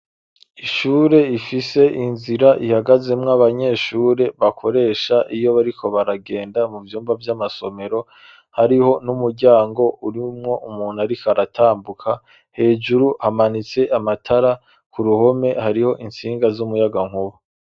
Ishure ifise inzira ihagazemwo abanyeshure bakoresha iyo bariko baragenda mu vyumba vy'amasomero hariho n'umuryango urimwo umuntu, ariko aratambuka hejuru hamanitse amatara ku ruhome hariho insinga z'umuyaga nkuba.